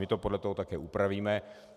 My to podle toho taky upravíme.